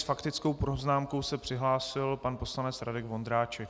S faktickou poznámkou se přihlásil pan poslanec Radek Vondráček.